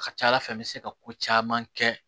A ka ca ala fɛ n bɛ se ka ko caman kɛ